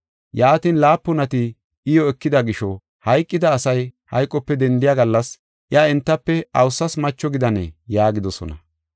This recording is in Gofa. Yaatin, laapunati iyo ekida gisho hayqida asay hayqope dendiya gallas, iya entafe awusas macho gidanee?” yaagidosona.